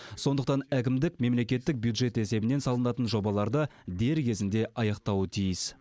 сондықтан әкімдік мемлекеттік бюджет есебінен салынатын жобаларды дер кезінде аяқтауы тиіс